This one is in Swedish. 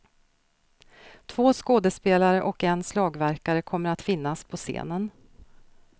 Två skådespelare och en slagverkare kommer att finnas på scenen.